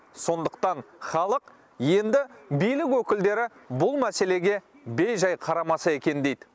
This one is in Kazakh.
сондықтан халық енді билік өкілдері бұл мәселеге бейжай қарамаса екен дейді